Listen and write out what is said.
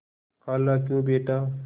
खालाक्यों बेटा